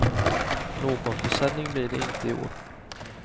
Någon försäljning blir det inte i år.